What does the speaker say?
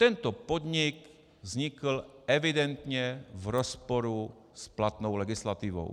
Tento podnik vznikl evidentně v rozporu s platnou legislativou.